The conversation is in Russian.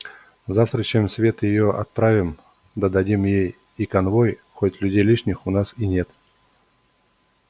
завтра чем свет её отправим да дадим ей и конвой хоть людей лишних у нас и нет